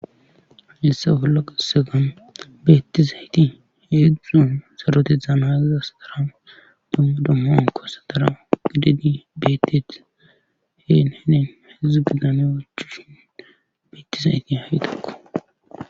issa bolla kessegan beettizayti heedzdzuon serote dzaanaaziza sdara dommi dommoon kossa dara gidedi beettet heen henen hedzudzu bidane wachushin beettizayti hahitekko